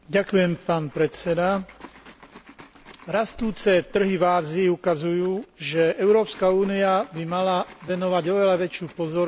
Rastúce trhy v Ázii ukazujú, že Európska únia by mala venovať oveľa väčšiu pozornosť svojej obchodnej politike v tejto oblasti.